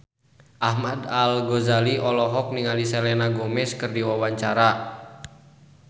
Ahmad Al-Ghazali olohok ningali Selena Gomez keur diwawancara